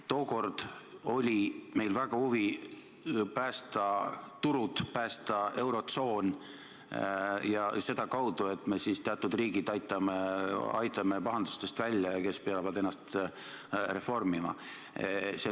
Tookord oli meil väga suur huvi päästa turud, päästa eurotsoon sedakaudu, et me aitame pahandustest välja teatud riigid, kes peavad ennast reformima.